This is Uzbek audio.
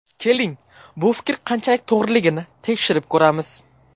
Keling, bu fikr qanchalik to‘g‘riligini tekshirib ko‘ramiz.